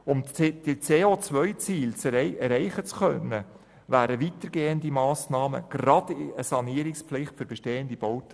Um die COZiele erreichen zu können, wären weitergehende Massnahmen notwendig, beispielsweise eine Sanierungspflicht für bestehende Bauten.